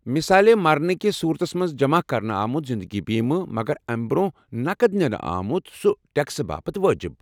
مثالے، مرنہٕ کس صورتس منٛز جمع کرنہٕ آمت زِندگی بیمہٕ ، مگر امہ برٛونٛہہ نقد نَِنہٕ آمٗت سُہ ٹیكسہٕ باپت وٲجِب ۔